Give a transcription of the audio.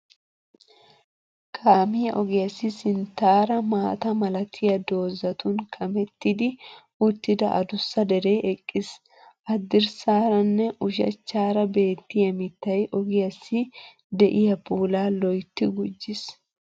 Kaamiya ogiyassi sinttaara maata malatiya doozatun kamettidi uttida adussa deree eqqiis. Hadirssaara nne ushachchaara beettiya mittay ogiyassi de"iya puulaa lo"ytti gujjiis.